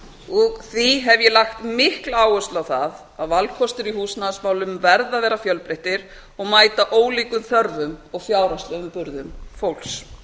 og því hef ég lagt mikla áherslu á það að valkostir í húsnæðismálum verða að vera fjölbreyttir og mæta ólíkum þörfum og fjárhagslegum burðum fólks